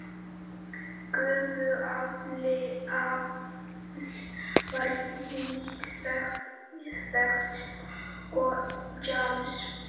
Gufuafl var lítt þekkt og James